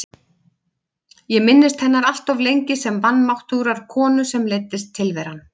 Ég minntist hennar alltof lengi sem vanmáttugrar konu sem leiddist tilveran.